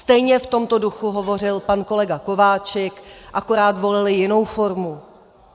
Stejně v tomto duchu hovořil pan kolega Kováčik, akorát volili jinou formu.